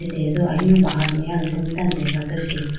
dedo ahinu bahar meya alombro mai tando dega athuji.